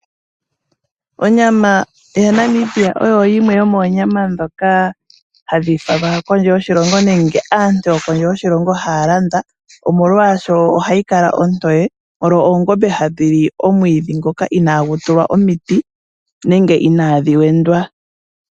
Onyama yaNamibia oyo yimwe yomoonyama dhoka hadhi falwa kondje yoshilongo nenge aantu yokondje yoshilongo haa landa, molwasho ohayi kala ontoye oshoka oongombe ohadhi li owala omwiidhi ngoka inaagu tulwa omiti nenge inaadhi wendwa.